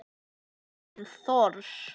Kjartan Thors.